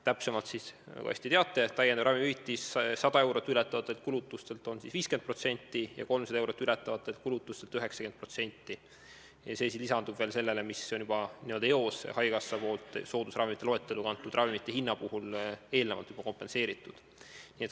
Täpsemalt öeldes, nagu te hästi teate, on 100 eurot ületavate kulutuste puhul täiendav ravimihüvitis 50% ja 300 eurot ületavate kulutuste puhul 90% ning see soodustus lisandub sellele, mille haigekassa on soodusravimite loetellu kantud ravimite hinna puhul juba eelnevalt, n-ö eos kompenseerinud.